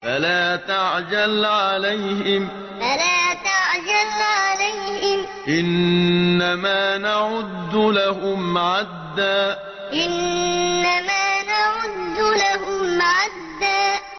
فَلَا تَعْجَلْ عَلَيْهِمْ ۖ إِنَّمَا نَعُدُّ لَهُمْ عَدًّا فَلَا تَعْجَلْ عَلَيْهِمْ ۖ إِنَّمَا نَعُدُّ لَهُمْ عَدًّا